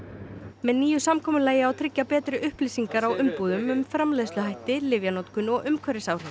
með nýju samkomulagi á að tryggja betri upplýsingar á umbúðum um framleiðsluhætti lyfjanotkun og umhverfisáhrif